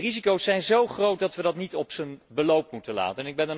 De risico's zijn zo groot dat we dit niet op zijn beloop moeten laten.